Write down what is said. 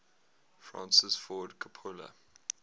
francis ford coppola